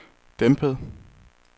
dæmpet